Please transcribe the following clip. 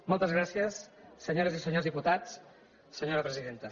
moltes gràcies senyores i senyors diputats senyora presidenta